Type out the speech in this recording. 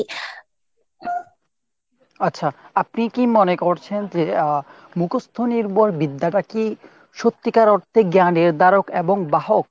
আচ্ছা, আপনি কি মনে করছেন যে আহ মুখস্ত নির্ভর বিদ্যাটাকেই সত্যিকার অর্থে জ্ঞানের নির্ধারক এবং বাহক?